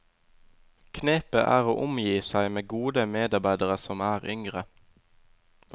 Knepet er å omgi seg med gode medarbeidere som er yngre.